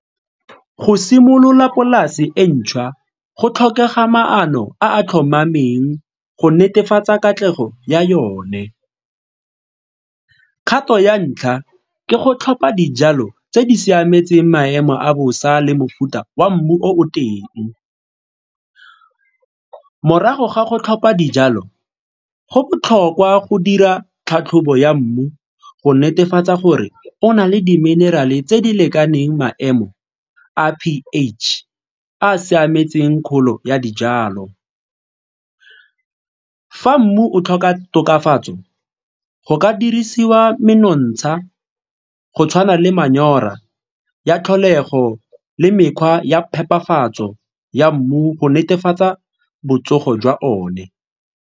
Go simolola polase e ntšhwa, go tlhokega maano a a tlhomameng go netefatsa katlego ya yone. Kgato ya ntlha ke go tlhopha dijalo tse di siametseng maemo a bosa le mofuta wa mmu o o teng. Morago ga go tlhopha dijalo, go botlhokwa go dira tlhatlhobo ya mmu go netefatsa gore o na le di-mineral-e tse di lekaneng maemo a p_H a a siametseng kgolo ya dijalo. Fa mmu o tlhoka tokafatso go ka dirisiwa menontsha go tshwana le manyora ya tlholego le mekgwa ya phepafatso ya mmu go netefatsa botsogo jwa one.